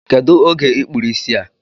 Kedụ oge I kpụrụ isi a?